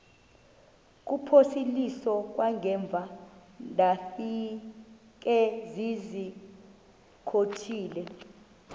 kuphosiliso kwangaemva ndafikezizikotile